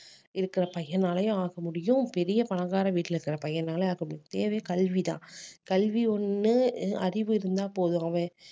இருக்கிற பையனாலயும் ஆக முடியும் பெரிய பணக்கார வீட்டில இருக்கிற பையனால ஆக முடியும் தேவை கல்விதான் கல்வி ஒண்ணு அஹ் அறிவு இருந்தா போதும் அவன்